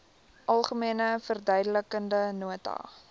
algemene verduidelikende nota